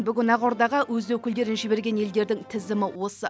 бүгін ақордаға өз өкілдерін жіберген елдердің тізімі осы